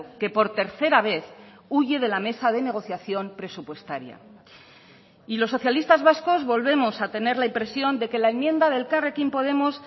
que por tercera vez huye de la mesa de negociación presupuestaria y los socialistas vascos volvemos a tener la impresión de que la enmienda de elkarrekin podemos